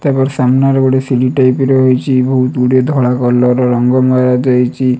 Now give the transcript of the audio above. ସାମ୍ନାରେ ଗୋଟେ ଟାଇପ୍ ର ରହିଚି ବୋହୁତ ଗୁଡିଏ ଧଳା କଲର୍ ରଙ୍ଗ ମୟ ଦେଇଚି।